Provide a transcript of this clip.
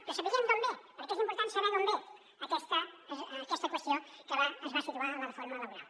però sapiguem d’on ve perquè és important saber d’on ve aquesta qüestió que es va situar a la reforma laboral